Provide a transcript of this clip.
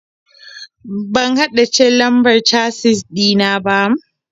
Ban haddace lambar casis ɗina ba.